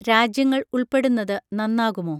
രാജ്യങ്ങൾ ഉൾപ്പെടുന്നത് നന്നാകുമോ?